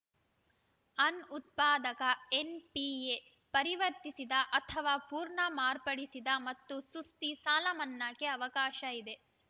ಅನ್ ಉತ್ಪಾದಕ ಎನ್‌ಪಿಎ ಪರಿವರ್ತಿಸಿದ ಅಥವಾ ಪುರ್ಣ ಮಾರ್ಪಡಿಸಿದ ಮತ್ತು ಸುಸ್ತಿ ಸಾಲಮನ್ನಾಗೆ ಅವಕಾಶ ಇದೆ